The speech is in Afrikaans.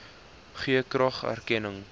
gee graag erkenning